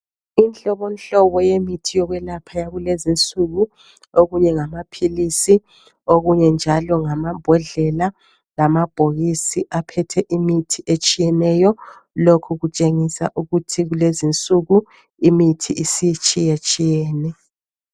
Inhlobonhlobo yemithi yokwelapha yakulezinsuku. Okunye ngamaphilisi, okunye njalo ngamabhodlela lamabhokisi aphethe imithi etshiyeneyo. Lokhu kutshengisa ukuthi kulezinsuku imithi isitshiyetshiyene.